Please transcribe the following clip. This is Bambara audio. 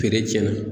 Feere tiɲɛna